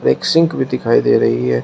एक सिंक भी दिखाई दे रही है।